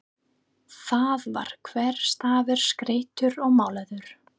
Þar var hver stafur skreyttur og málaður.